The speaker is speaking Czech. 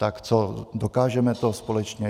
Tak co, dokážeme to společně?